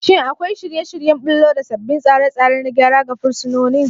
Shin akwai shirye-shiryen ɓullo da sabbin tsare-tsare na gyara ga fursunonin?